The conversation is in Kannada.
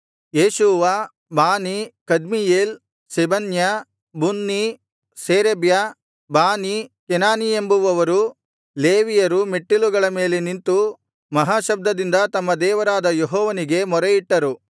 Jeshua Bani Kadmiel Shebaniah Bunni Sherebiah Bani Chenani ಎಂಬುವವರು ಲೇವಿಯರು ಮೆಟ್ಟಿಲುಗಳ ಮೇಲೆ ನಿಂತು ಮಹಾಶಬ್ದದಿಂದ ತಮ್ಮ ದೇವರಾದ ಯೆಹೋವನಿಗೆ ಮೊರೆಯಿಟ್ಟರು